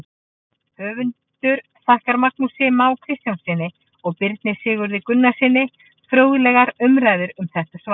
Höfundur þakkar Magnúsi Má Kristjánssyni og Birni Sigurði Gunnarssyni fróðlegar umræður um þetta svar.